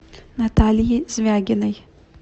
натальи звягиной